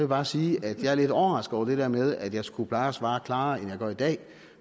bare sige at jeg er lidt overrasket over det der med at jeg skulle pleje at svare klarere end jeg gør i dag